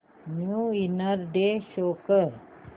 new year day show कर